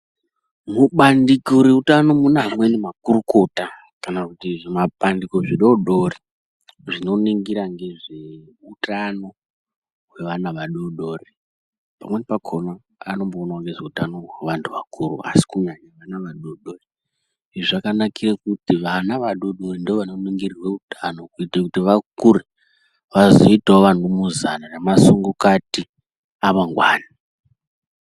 Mubandiko reutano mune amweni makurukota kana kuti zvimabandiko zvidodori zvinoningira ngezveutano hwevana vadodori. Pamweni. pakona vanomboonawo ngehwe vantu vakuru asi kunyanya vana vadodori izvi zvakanakira kuti ana adodori ndoanoningirwe utano kuti vakure vazoitawo vanumuzana nasungukati amangwani.